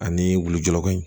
Ani wulujurako in